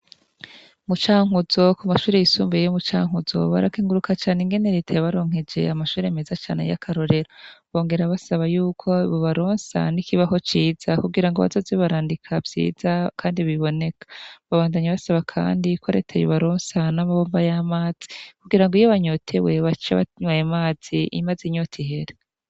Mu Cankuzo ku mashuri yisumbeye yo Mucankuzo barakenguruka cane ingene reta yabaronkeje amashuri meze cane y'akarorero bongera basaba yuko boba ronsa n'ikibaho ciza kurango bazoze barandika vyiza kandi biboneka babandanye basaba kandi ko reta yobaronsa n'amabombo y'amazi kugira ngo iyo banyotewe bace banwa ayo mazi mazi inyota ihere.